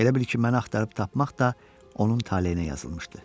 Elə bil ki, məni axtarıb tapmaq da onun taleyinə yazılmışdı.